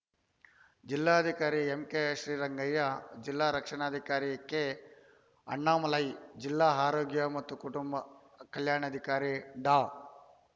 ಜಿಲ್ಲಾಧಿಕಾರಿ ಎಂಕೆ ಶ್ರೀರಂಗಯ್ಯ ಜಿಲ್ಲಾ ರಕ್ಷಣಾಧಿಕಾರಿ ಕೆ ಅಣ್ಣಾಮಲೈ ಜಿಲ್ಲಾ ಆರೋಗ್ಯ ಮತ್ತು ಕುಟುಂಬ ಕಲ್ಯಾಣಾಧಿಕಾರಿ ಡಾ